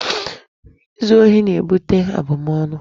Izu ohi na-ebute abụmọnụ.